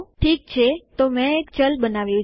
ઠીક છેતો મેં એક ચલ બનાવ્યું છે